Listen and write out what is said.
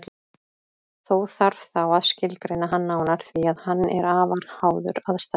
Þó þarf þá að skilgreina hann nánar því að hann er afar háður aðstæðum.